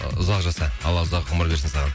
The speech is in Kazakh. ы ұзақ жаса алла ұзақ ғұмыр берсін саған